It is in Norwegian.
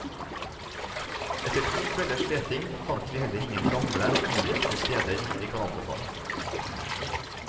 Etter to kvelders leting fant vi heller ingen gamle innrøkte steder vi kan anbefale.